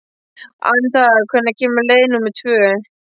Anita, hvenær kemur leið númer tvö?